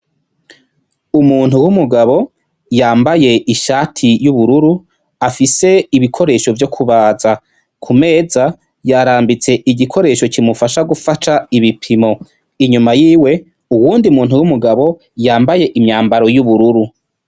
Umuntu w'umugabo yambaye ishati y'ubururu afise ibikoresho vyo kubaza. Ku meza yarambitse igikoresho kimufasha gufata ibipimo, inyuma yiwe uyundi mugabo yambaye imyambaro y'ubururu.